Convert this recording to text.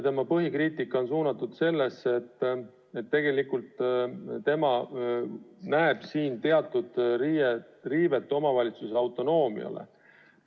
Tema põhikriitika on suunatud sellele, et tema näeb siin teatud riivet omavalitsuse autonoomiale.